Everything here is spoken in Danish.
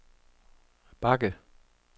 bakke